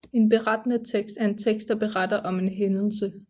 En Berettende tekst er en tekst der beretter om en hændelse